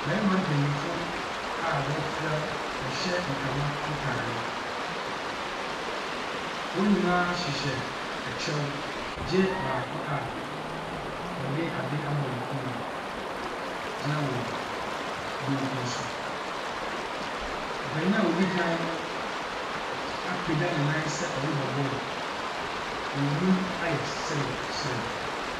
Mmarima mpanimfoɔ a wɔafura, wɔhyɛ ntama ntare. Wɔn nyinaa hyehyɛ kyɛw gye baako a ɔde ade abɔ ne kɔn mu gyina wɔn benkum so. Ɔpanin a ɔdi kan no apagya ne nan sɛ ɔrebɔ ball. Wɔn anim ayɛ serew serew.